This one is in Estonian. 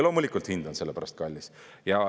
Loomulikult, hind on selle pärast kallis.